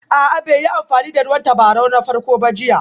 A'a bai yi amfani da ruwan tabarau na farko ba jiya